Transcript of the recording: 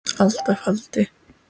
alda faldi